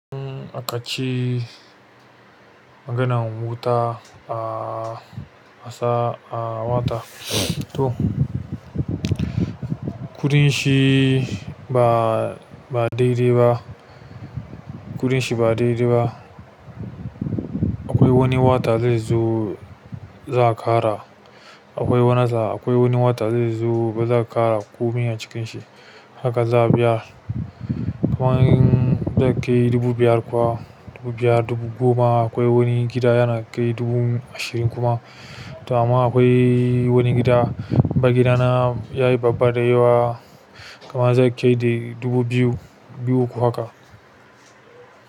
Mun aƙaci maganan wuta a hasa, a wata to, kuɗin shi ba, ba daidai ba. Kuɗin shi ba daidai ba. Akwai wani wata zai zo za'a ƙara. Akwai wani, akwai wani wata zai zo ba za a ƙara ko me a cikin shi. Haka za a biya. Bayan zan kai dubu biyar kuwa, dubu biyar, dubu goma. Akwai wani gida yana kai dubu ashirin kuma. To amma akwai wani gida, ba gida na ya yi babba da yawa kaman zai kai dubu biyu, biyu ko haka.